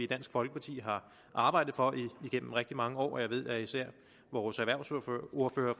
dansk folkeparti har arbejdet for igennem rigtig mange år og jeg ved at især vores erhvervsordfører